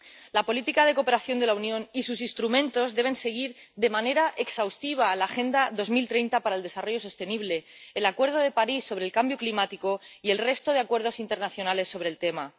La política de cooperación de la Unión y sus instrumentos deben seguir de manera exhaustiva la Agenda 2030 para el Desarrollo Sostenible, el Acuerdo de París sobre el Cambio Climático y el resto de acuerdos internacionales sobre el tema.